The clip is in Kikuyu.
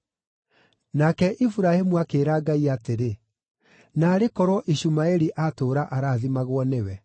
Nake Iburahĩmu akĩĩra Ngai atĩrĩ, “Naarĩ korwo Ishumaeli atũũra arathimagwo nĩwe!”